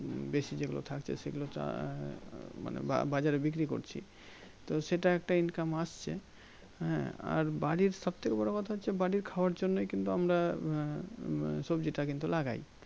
বেশি যেগুলো থাকছে সেগুলো চাই মানে বাজারে বিক্রি করছি তো সেটা একটা Income আসছে হ্যাঁ আর বাড়ির সব থেকে বড়ো কথা হচ্ছে বাড়ির খাবার জল নাই কিন্তু আমরা আহ মানে সবজিটি কিন্তু লাগাই